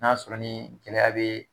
N'a sɔrɔ ni gɛlɛya bee